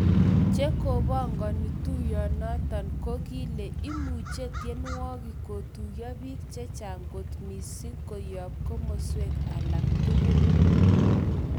Che kopongoni tuyonoton ko kile imuche tienwokik kotuyo pik chechang kot missing koyop komoswek alak tugul,.